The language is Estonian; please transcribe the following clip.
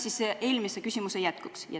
See oli eelmise küsimuse jätkuks.